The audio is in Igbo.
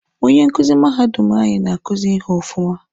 Onye nkuzi mahadum anyị na-akuzi ihe ọfụma.